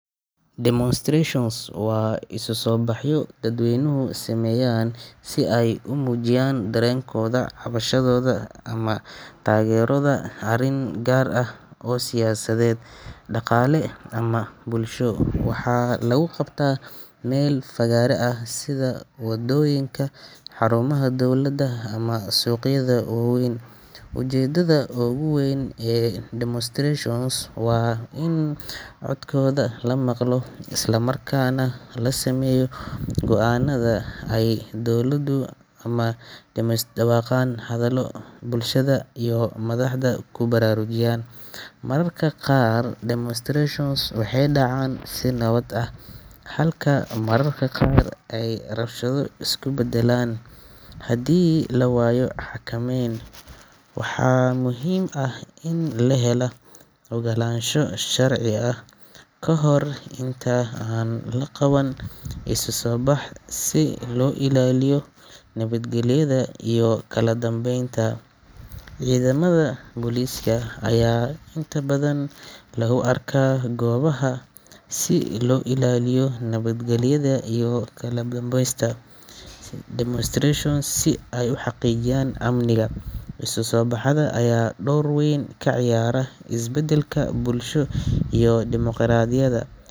demonstrations waa isku sobaxyo dadweynuhu sameyan sii aay umujiyan darenkodha cabashadoda amah tagerida arin gar ah oo siyasaded, daqale amah bulsho, waxa lagu qabta mel fagara ah sidha wadoyinka, xarumaha dowlada amah suqyada waweyn, ujedadha oguweyn ee demonstrations waa in codkodha lamaqlo isla markas nah lasameyo goo anada dowladu amah kudawaqan hadalo madaxda kubararujiyan, mararka qar demonstrations waxay dacan si nawad ah halka mararka qar aay rabshado iskubedelan, hadi lawayo xakameyn waxa muhim ah in lahela ogalansho sharci ah kahor inta an laqaban iskusobax si loo ilaliyo nabadgeliyada iyo kaladambeynta, cidamada poliska aya intabadhan lagu arka gobaha si loo ilaliyo nabad geliyada iyo kaladambeyska, demonstrations si ay uxaqijiyan amniga iskusobaxada aya dor weyn ka ciyaara is bedelka bulsho iyo dimoqoradiyada.